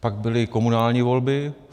Pak byly komunální volby.